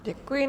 Děkuji.